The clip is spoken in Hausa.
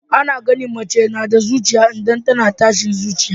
Ana gane mace nada ciki idan tAna tashin zuciya